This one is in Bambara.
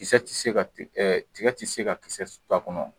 Kisɛ tɛ se ka ti tiga tɛ se ka kisɛ to a kɔnɔ.